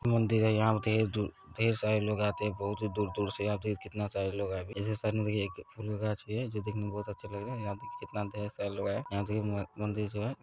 मंदिर है यहाँ पे ढ़ेर दू-- ढ़ेर सारे लोग आते है बहोत दूर दूर से आते है कितने सारे लोग जो दिखने मे बहोत अच्छे लग रहे है यहा पे जितना ढेर सारे लोग आए है यहा देखिये मंदिर जो है।